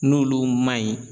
N'olu ma ɲi.